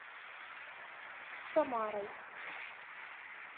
самарой